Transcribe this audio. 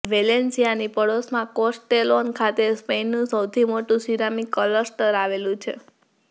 Valencia ની પડોશમા Castellon ખાતે સ્પેઇનનું સૌથી મોટુ સિરામિક ક્લસ્ટર આવેલું છે